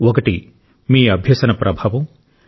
ఒకటి మీ అభ్యసన ప్రభావం